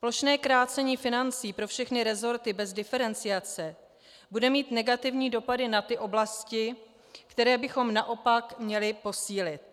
Plošné krácení financí pro všechny resorty bez diferenciace bude mít negativní dopady na ty oblasti, které bychom naopak měli posílit.